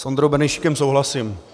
S Ondrou Benešíkem souhlasím.